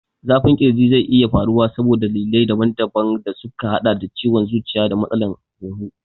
Zafin ƙirji zai iya faruwa saboda dalilai daban daban da suka haɗa da ciwon zuciya da matsalar hunhu.